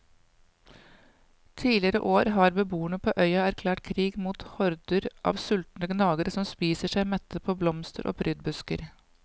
Tidligere år har beboere på øya erklært krig mot horder av sultne gnagere som spiser seg mette på blomster og prydbusker.